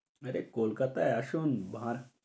আরে কলকাতায় আসুন ভাঁড়।